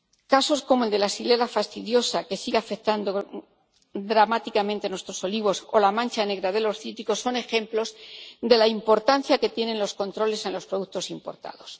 Casos como el de la Xylella fastidiosa que sigue afectando dramáticamente a nuestros olivos, o la mancha negra de los cítricos son ejemplos de la importancia que tienen los controles en los productos importados.